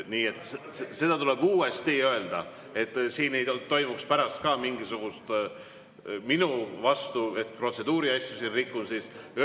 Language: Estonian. Nii et seda tuleb uuesti öelda, selleks et siin ei toimuks pärast mingisugust minu vastu, et ma rikun protseduuriasju.